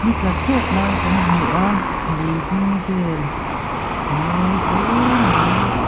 ni tla tep lai kan hmu a lui dung vel a mawi hle mai.